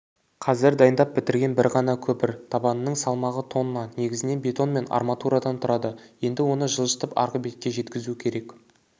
қазір дайындап бітірген бір ғана көпір табанының салмағы тонна негізінен бетон мен арматурадан тұрады енді оны жылжытып арғы бетке жеткізу керек